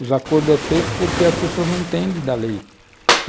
Os acordos são feitos porque as pessoas não entendem da lei.